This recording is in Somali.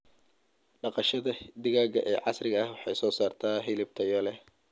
Dhaqashada digaaga ee casriga ah waxay soo saartaa hilib tayo leh.